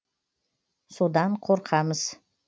содан қорқамыз